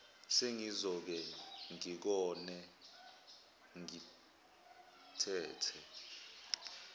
sengizoke ngigone ngitete